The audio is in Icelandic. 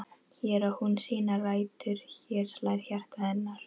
Hér á hún sínar rætur, hér slær hjarta hennar.